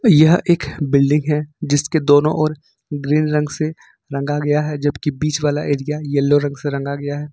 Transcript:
यह एक बिल्डिंग है जिसके दोनों ओर ग्रीन रंग से रंगा गया है जबकि बीच वाला एरिया येलो रंग से रंगा गया है।